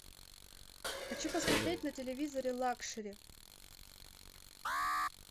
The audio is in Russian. хочу посмотреть на телевизоре лакшери